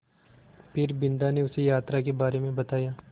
फिर बिन्दा ने उसे यात्रा के बारे में बताया